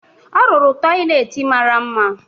Ọ rụrụ tọyịleetị mara mma